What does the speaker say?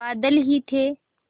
बादल ही थे